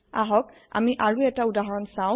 আহক আমি আৰু এতা উদাহৰণ চাও